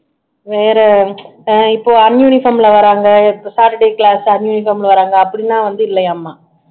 வேற அஹ் இப்போ uniform ல வர்றாங்க saturday class uniform ல வர்றாங்க அப்படின்னா வந்து இல்லையாமா